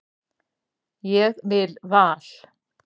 Ég vil Val.